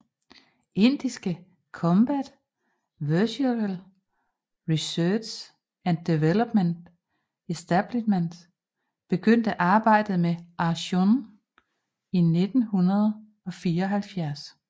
Indiske Combat Vehicle Research and Development Establishment begyndte arbejdet med Arjun i 1974